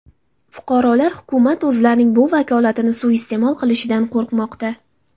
Fuqarolar hukumat o‘zlarining bu vakolatini suiiste’mol qilishidan qo‘rqmoqda.